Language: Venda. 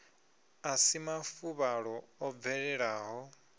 a si mafuvhalo o bvelelaho